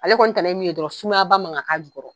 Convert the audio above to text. Ale kɔni tana ye min ye dɔrɔn sumayaba man ga ka jukɔrɔ.